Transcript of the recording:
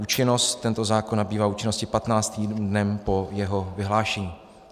Účinnost: Tento zákon nabývá účinnosti 15. dnem po jeho vyhlášení."